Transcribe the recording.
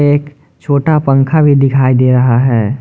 एक छोटा पंखा भी दिखाई दे रहा है।